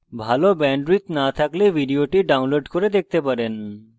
যদি ভাল bandwidth না থাকে তাহলে আপনি ভিডিওটি download করে দেখতে পারেন